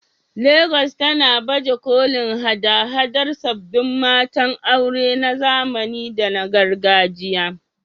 Legas tana baje kolin haɗa-haɗar sabbin matan aure na zamani da na gargajiya